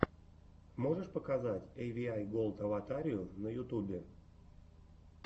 можешь показать эйвиай голд аватарию на ютубе